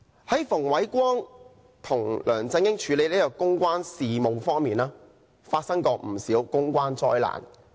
馮煒光為梁振英處理公關事務，曾造成不少公關災難。